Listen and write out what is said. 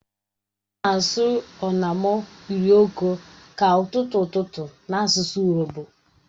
Ha na-asi "onamo urhioke" ka ututu ututu n'asusu urobo.